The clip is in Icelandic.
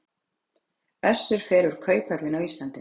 Össur fer úr kauphöllinni á Íslandi